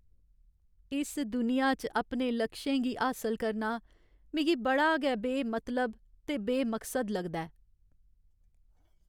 इस दुनिया च अपने लक्षें गी हासल करना मिगी बड़ा गै बेमतलब ते बेमकसद लगदा ऐ।